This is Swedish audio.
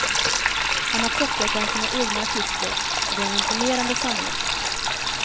Han har plockat bland sina egna artister och det är en imponerande samling.